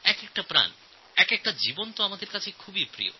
প্রতিটি প্রাণ প্রতিটি জীবন আমাদের অত্যন্ত প্রিয়